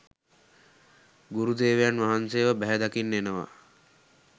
ගුරුදේවයන් වහන්සේව බැහැදකින්න එනවා